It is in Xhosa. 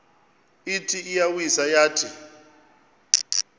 ithi iyawisa yathi